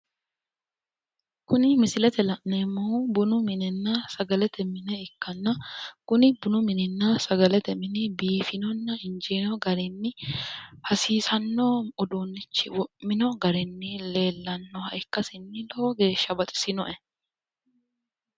Kuni misilete la'neemmohu bunu minenna sagalete mine ikkanna, kuni bunu mininna sagalete mini biifinonna injiino garinni hasiisanno uduunnichi wo'mino garinni leellannoha ikkasinni lowo geeshsha baxisinoe.